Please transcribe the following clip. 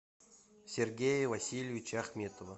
сергея васильевича ахметова